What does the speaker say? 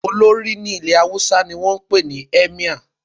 Olórí ní ilẹ̀ Haúsá ni wọ́n ń pè ní "Emir"